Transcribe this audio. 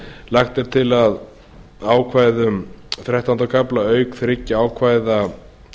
lagt er til að ákvæðum þrettánda kafla auk þriggja ákvæða